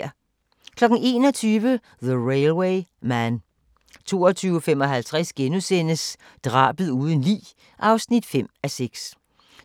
21:00: The Railway Man 22:55: Drabet uden lig (5:6)*